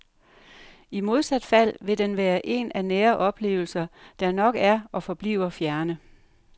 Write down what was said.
I modsat fald vil den være en af nære oplevelser, der nok er og forbliver fjerne.